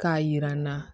K'a jira n na